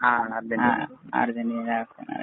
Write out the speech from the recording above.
ആ Argentina, Argentina